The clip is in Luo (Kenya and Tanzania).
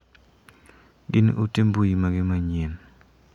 Gin ote mbui mage manyien ?